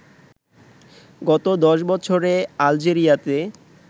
গত দশ বছরে আলজেরিয়াতে